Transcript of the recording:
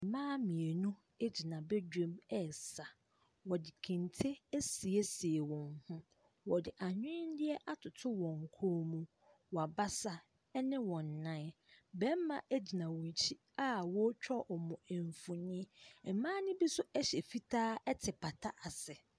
Mmaa mmienu ɛgyina badwam ɛɛsa. Wɔde kente asiesie wɔn ho. Wɔde anwendeɛ atoto wɔn kɔn mu, w'abasa ɛne wɔn nnan. Bɛɛma ɛgyina wɔn akyi a wɔɔtwa ɔmo mfonin. Ɛmaa no bi nso ɛhyɛ fitaa ɛte pata ase.